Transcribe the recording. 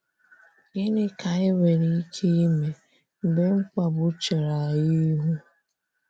Gịnị ka anyị nwere ike ịmee, mgbe mkpagbu chere anyị ịhụ?